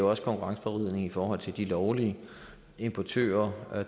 også konkurrenceforvridning i forhold til de lovlige importører af